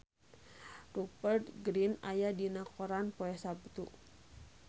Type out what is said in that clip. Rupert Grin aya dina koran poe Saptu